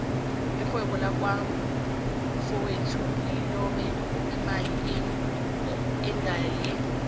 irhwebo laka mfowethu lilobe imali inyangale